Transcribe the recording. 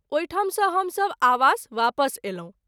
ओहि ठाम सँ हम सभ आवास वापस अयलहुँ।